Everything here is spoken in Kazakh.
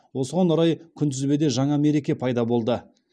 осыған орай күнтізбеде жаңа мереке пайда болды